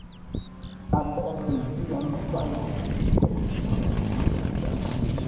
Adhan Januzaj kochut Real Sociedad